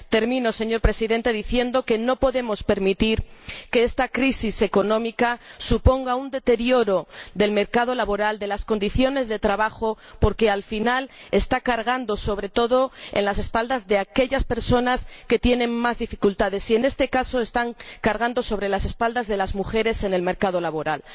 Termino, señor Presidente, diciendo que no podemos permitir que esta crisis económica suponga un deterioro del mercado laboral, de las condiciones de trabajo, porque al final está cargando, sobre todo, en las espaldas de aquellas personas que tienen más dificultades y, en este caso, está cargando sobre las espaldas de las mujeres en el mercado laboral.